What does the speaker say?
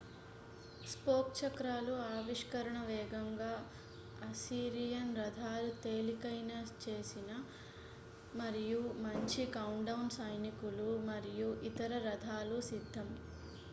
spoke చక్రాలు ఆవిష్కరణ వేగంగా అస్సిరియన్ రథాలు తేలికైన చేసిన మరియు మంచి కౌంట్డౌన్ సైనికులు మరియు ఇతర రథాలు సిద్ధం